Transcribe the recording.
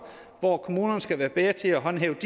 hvor kommunerne skal være bedre til at håndhæve